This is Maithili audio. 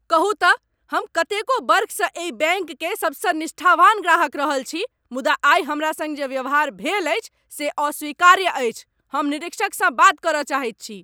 कहू तँ, हम कतेको बर्खसँ एहि बैङ्क केर सबसँ निष्ठावान ग्राहक रहल छी मुदा आइ हमरा सङ्ग जे व्यवहार भेल अछि से अस्वीकार्य अछि। हम निरीक्षकसँ बात करय चाहैत छी।